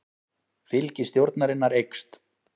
Fylgi stjórnarinnar eykst